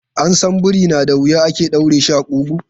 An san biri na da wuya ake ɗaure shi a ƙugu.